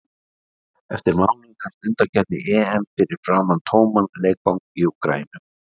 Eftir mánuð hefst undankeppni EM fyrir framan tóman leikvang í Úkraínu.